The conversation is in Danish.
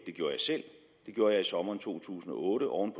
gjorde jeg i sommeren to tusind og otte oven